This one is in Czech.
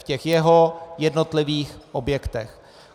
V těch jeho jednotlivých objektech.